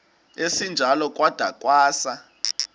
esinjalo kwada kwasa